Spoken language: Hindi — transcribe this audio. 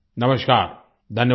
नमस्कार धन्यवाद